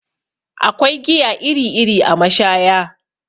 Akwai giya iri iri a mashaya